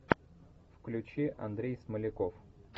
включи андрей смоляков